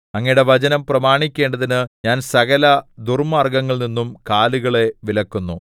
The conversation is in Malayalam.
അങ്ങയുടെ വചനം പ്രമാണിക്കേണ്ടതിന് ഞാൻ സകല ദുർമാർഗ്ഗത്തിൽനിന്നും കാലുകളെ വിലക്കുന്നു